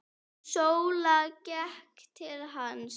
Sóla gekk til hans.